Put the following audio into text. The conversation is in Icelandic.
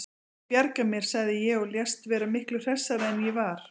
Ég bjarga mér, sagði ég og lést vera miklu hressari en ég var.